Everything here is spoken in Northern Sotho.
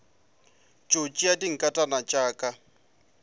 tšo tšea dinkatana tša ka